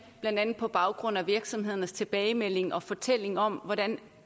blandt andet på baggrund af virksomhedernes tilbagemelding og fortælling om hvordan